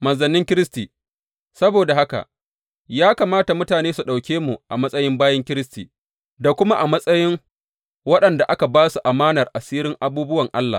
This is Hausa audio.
Manzannin Kiristi Saboda haka, ya kamata mutane su ɗauke mu a matsayin bayin Kiristi, da kuma a matsayin waɗanda aka ba su amanar asirin abubuwan Allah.